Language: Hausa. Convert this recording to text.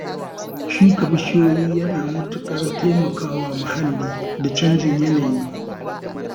Shuka bishiyu yana matuƙar taimaka wa muhalli da canjin yanayi